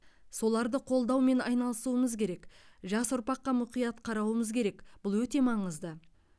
соларды қолдаумен айналысуымыз керек жас ұрпаққа мұқият қарауымыз керек бұл өте маңызды